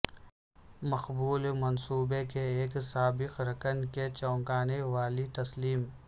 مقبول منصوبے کے ایک سابق رکن کے چونکانے والی تسلیم